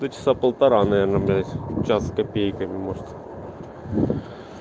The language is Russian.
то часа полтора наверное блять час с копейками может